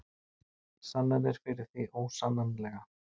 Sannanir fyrir því ósannanlega.